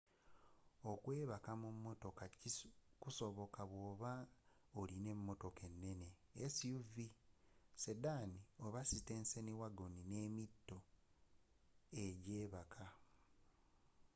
okwebaka mu motoka kusoboka bwoba nga olina emotoka enene suv sedan oba sitenseni wagon n'emito ejjebaka